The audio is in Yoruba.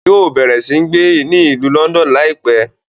Yóò bẹrẹ si gbé ni Ìlú Lọndọnu laipẹ